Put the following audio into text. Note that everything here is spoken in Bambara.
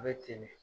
A bɛ ten de